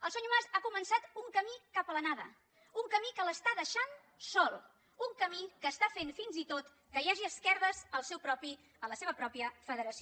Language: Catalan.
el senyor mas ha començat un camí cap a la nada un camí que l’està deixant sol un camí que està fent fins i tot que hi hagi esquerdes a la seva pròpia federació